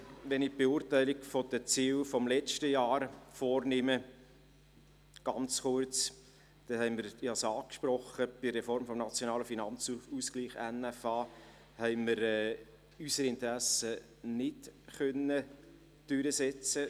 Wenn ich ganz kurz die Beurteilung der Ziele des letzten Jahres vornehme – ich habe es angesprochen –, konnten wir bei der Reform des NFA unsere Interessen nicht durchsetzen.